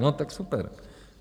No tak super.